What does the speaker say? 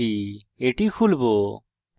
এটি খুলবো